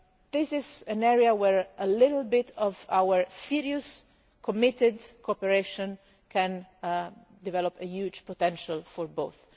June. This is an area where a little bit of our serious, committed cooperation can develop a huge potential for